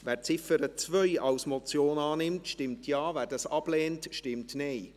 Wer die Ziffer 2 als Motion annimmt, stimmt Ja, wer dies ablehnt, stimmt Nein.